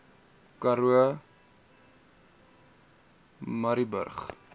karoo murrayburg